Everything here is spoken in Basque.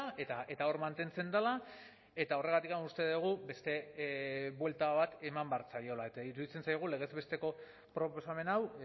eta hor mantentzen dela eta horregatik uste dugu beste buelta bat eman behar zaiola eta iruditzen zaigu legez besteko proposamen hau